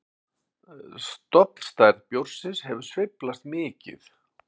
Stofnstærð bjórsins hefur sveiflast mikið.